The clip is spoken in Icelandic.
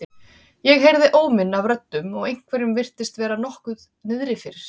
Ég heyrði óminn af röddum og einhverjum virtist vera nokkuð niðri fyrir.